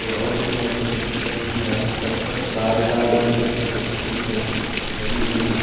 पेड़ और दिख रहा है इसके पत्तती का रंग भी हरा है सब तरफ कार ही कार दिख रही है कुछ व्यक्ति दिख रहें हैं बड़ी बिल्डिंग है।